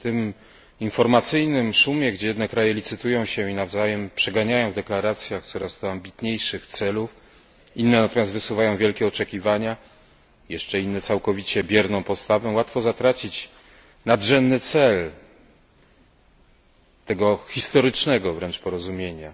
W tym informacyjnym szumie, gdzie jedne kraje licytują się i nawzajem przeganiają w deklaracjach coraz to ambitniejszych celów, inne natomiast wysuwają wielkie oczekiwania, jeszcze inne całkowicie bierną postawę, łatwo zatracić nadrzędny cel tego historycznego wręcz porozumienia.